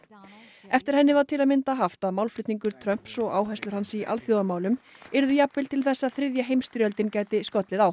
eftir henni var til að mynda haft að málflutningur Trumps og áherslur hans í alþjóðamálum yrðu jafnvel til þess að þriðja heimsstyrjöldin gæti skollið á